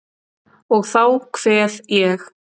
Og þá kveð ég.